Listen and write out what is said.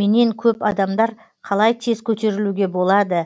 менен көп адамдар қалай тез көтерілуге болады